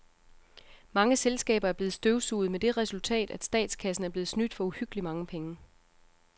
Mange selskaber er blevet støvsuget med det resultat, at statskassen er blevet snydt for uhyggeligt mange penge.